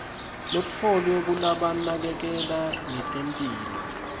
letfolwe kulabanakekela ngetemphilo